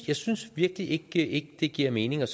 jeg synes virkelig ikke det giver mening med